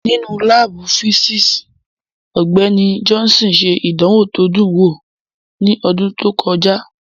Nínú láàbù físíìsì, Ọgbẹ́ni Johnson ṣe ìdánwò tó dùn wò ní ọdún tó kọjá